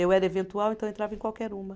Eu era eventual, então entrava em qualquer uma.